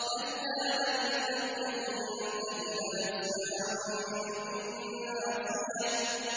كَلَّا لَئِن لَّمْ يَنتَهِ لَنَسْفَعًا بِالنَّاصِيَةِ